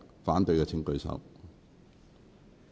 反對的請舉手。